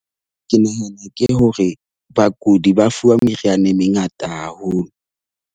Ke nahana ke hore bakudi ba fuwa meriana e mengata haholo.